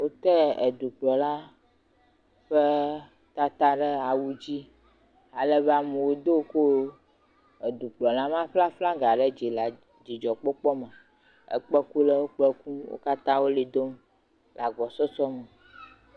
Wotɛ edukplɔla ƒe tata ɖe awudzi alebe amewo do ko, dukplɔla ma ƒe aflaga ɖe dzi le dzidzɔkpɔkpɔme. Ekpẽkulawo kpẽ kum. Wo katã wo ʋli dom le agbɔsɔsɔme.